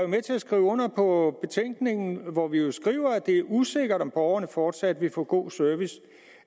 med til at skrive under på betænkningen hvor vi jo skriver at det er usikkert om borgerne fortsat vil få god service